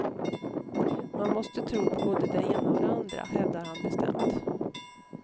Man måste tro på både de ena och de andra, hävdar han bestämt.